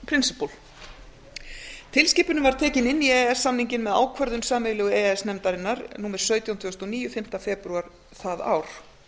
tekin inn í e e s samninginn með ákvörðun sameiginlegu e e s nefndarinnar númer sautján tvö þúsund og níu fimmta febrúar það ár